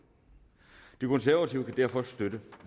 de konservative kan derfor støtte